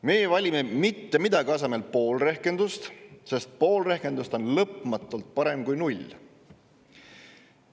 Meie valime mitte millegi asemel pool rehkendust, sest pool rehkendust on lõpmatult parem kui null.